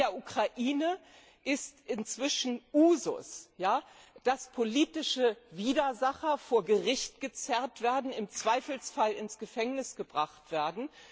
In der Ukraine ist es inzwischen Usus, dass politische Widersacher vor Gericht gezerrt werden, im Zweifelsfall ins Gefängnis gebracht werden.